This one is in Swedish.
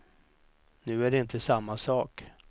Nu är det inte samma sak.